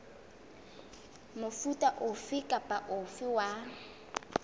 mofuta ofe kapa ofe wa